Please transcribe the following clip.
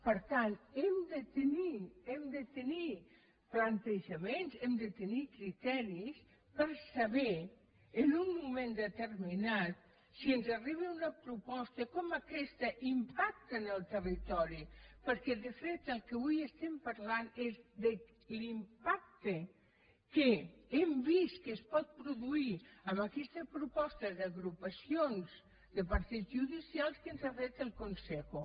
per tant hem de tenir hem de tenir plantejaments hem de tenir criteris per saber en un moment determinat si ens arriba una proposta com aquesta impacta en el territori perquè de fet del que avui estem parlant és de l’impacte que hem vist que es pot produir amb aquesta proposta d’agrupacions de partits judicials que ens ha fet el consejo